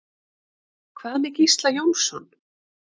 Hvað með Gísla Jónsson?